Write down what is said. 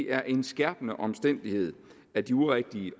er en skærpende omstændighed at de urigtige